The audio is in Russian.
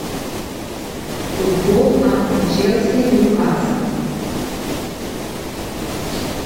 футбол апл челси ньюкасл